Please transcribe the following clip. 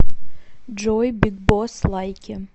джой биг босс лайки